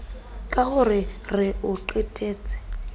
ka ho re o qetetse